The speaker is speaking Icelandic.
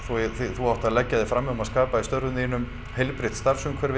þú átt að leggja þig fram um að skapa í störfum þínum heilbrigt starfsumhverfi